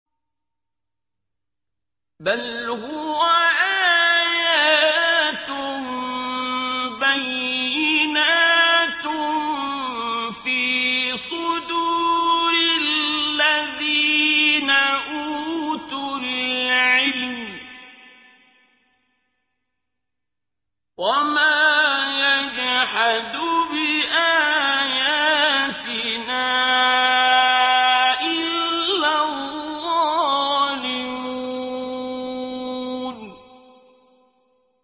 بَلْ هُوَ آيَاتٌ بَيِّنَاتٌ فِي صُدُورِ الَّذِينَ أُوتُوا الْعِلْمَ ۚ وَمَا يَجْحَدُ بِآيَاتِنَا إِلَّا الظَّالِمُونَ